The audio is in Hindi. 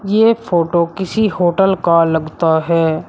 यह फोटो किसी होटल का लगता है।